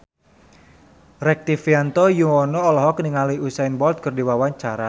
Rektivianto Yoewono olohok ningali Usain Bolt keur diwawancara